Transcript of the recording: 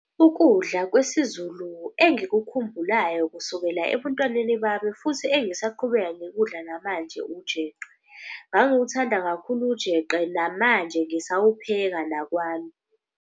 Ukudla kwesiZulu engikukhumbulayo kusukela ebuntwaneni bami futhi engisaqhubeka ngikudla namanje ujeqe. Ngangiwathanda kakhulu ujeqe namanje ngisawupheka nakwami.